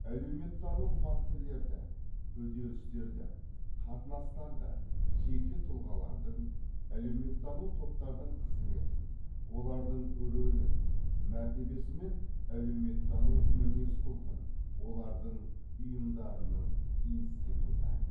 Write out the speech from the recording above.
әлеуметтану фактілерді үдерістерді қатынастарды жеке тұлғалардың әлеуметтану топтардың қызметін олардың рөлін мәртебесі мен әлеуметтану мінез құлқын олардың ұйымдарының институты